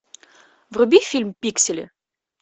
вруби фильм пиксели